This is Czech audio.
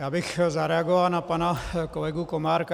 Já bych zareagoval na pana kolegu Komárka.